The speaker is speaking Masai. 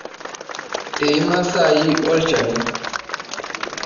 Eima saai olchani.